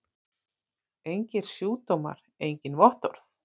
Engir sjúkdómar engin vottorð!